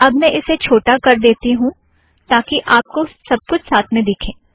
अब मैं इसे छोटा कर देती हूँ ताकि आप को सब कुछ साथ में दिखें